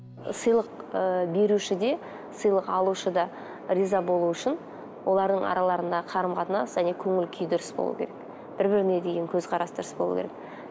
сыйлық ыыы беруші де сыйлық алушы да риза болу үшін олардың араларында қарым қатынас және көңіл күй дұрыс болу керек бір біріне деген көзқарас дұрыс болу керек